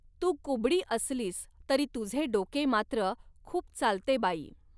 तू कुबडी असलीस तरी तुझे डोके मात्र खूप चालते बाई!